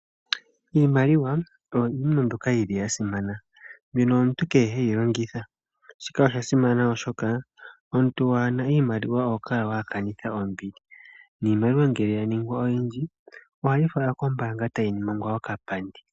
Iimaliwa oyo iinima mbyoka yili ya simana, mbyono omuntu kehe heyi longitha. Shika osha simana oshoka omuntu waana iimaliwa oho kala wa kanitha ombili, niimaliwa ngele yaningwa oyindji, ohayi falwa kombaanga tayi ningwa oka pandi.